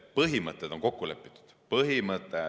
Põhimõtted on kokku lepitud.